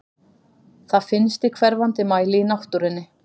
Það finnst í hverfandi mæli í náttúrunni.